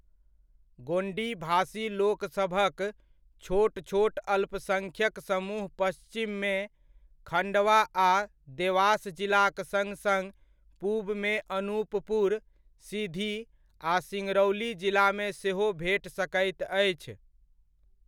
गोण्डी भाषी लोक सभक छोट छोट अल्पसङ्ख्यक समूह पश्चिममे खण्डवा आ देवास जिलाक सङ्ग सङ्ग पूबमे अनुपपुर, सीधी, आ सिङ्गरौली जिलामे सेहो भेट सकैत अछि।